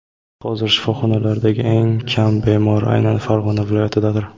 Hozir shifoxonalardagi eng kam bemor aynan Farg‘ona viloyatidadir.